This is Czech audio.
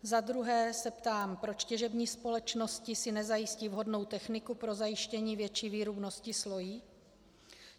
Za druhé se ptám, proč těžební společnosti si nezajistí vhodnou techniku pro zajištění větší výrubnosti slojí.